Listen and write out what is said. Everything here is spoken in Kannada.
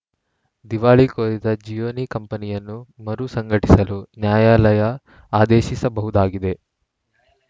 ದಿವಾಳಿ ಕೋರಿದ ಜಿಯೋನಿ ಕಂಪನಿಯನ್ನು ಮರು ಸಂಘಟಿಸಲು ನ್ಯಾಯಾಲಯ ಆದೇಶಿಸಬಹುದಾಗಿದೆ